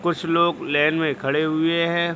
कुछ लोग लाइन में खड़े हुए हैं।